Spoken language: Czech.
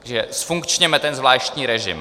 Takže zfunkčněme ten zvláštní režim.